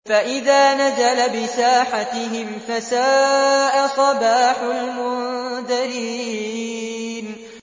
فَإِذَا نَزَلَ بِسَاحَتِهِمْ فَسَاءَ صَبَاحُ الْمُنذَرِينَ